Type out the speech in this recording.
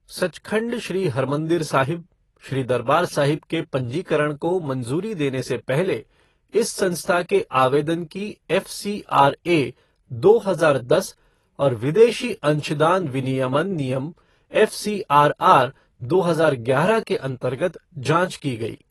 सचखंड श्री हरमंदिर साहिब, श्री दरबार साहिब के पंजीकरण को मंज़ूरी देने से पहले, इस संस्था के आवेदन की एफ़सीआरए, दो हजार दस और विदेशी अंशदान विनियमन नियम एफसीआरआर, दो हजार ग्यारह के अंतर्गत जाँच की गई।